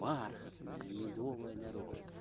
бархатная медовая дорожка